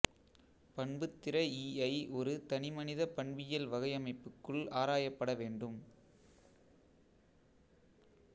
பண்புத்திற ஈஐ ஒரு தனிமனிதப் பண்பியல் வகையமைப்புக்குள் ஆராயப்பட வேண்டும்